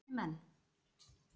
Og viti menn!